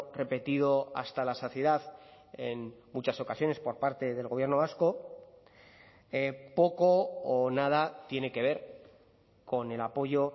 repetido hasta la saciedad en muchas ocasiones por parte del gobierno vasco poco o nada tiene que ver con el apoyo